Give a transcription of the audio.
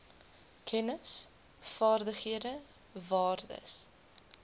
kennis vaardighede waardes